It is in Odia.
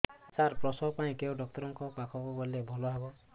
ସାର ପ୍ରସବ ପାଇଁ କେଉଁ ଡକ୍ଟର ଙ୍କ ପାଖକୁ ଗଲେ ଭଲ ହେବ